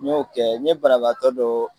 N y'o kɛ n ye bana bagatɔ dɔ